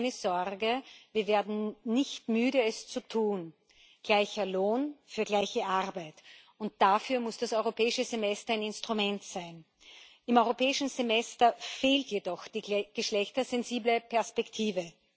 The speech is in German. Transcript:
Aber keine Sorge, wir werden nicht müde, es zu tun gleicher Lohn für gleiche Arbeit. Und dafür muss das Europäische Semester ein Instrument sein. Im Europäischen Semester fehlt jedoch die geschlechtersensible Perspektive.